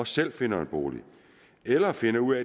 selv finder en bolig eller finder ud